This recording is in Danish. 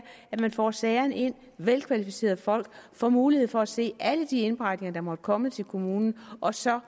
at man får sagerne ind og at velkvalificerede folk får mulighed for at se alle de indberetninger der måtte komme til kommunen og så